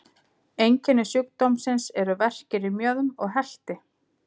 Einkenni sjúkdómsins eru verkir í mjöðm og helti.